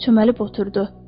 Çöməlib oturdu.